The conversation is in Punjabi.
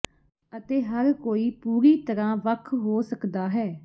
ਅਤੇ ਹਰ ਕੋਈ ਪੂਰੀ ਤਰਾਂ ਵੱਖ ਹੋ ਸਕਦਾ ਹੈ